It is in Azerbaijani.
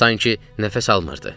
Sanki nəfəs almırdı.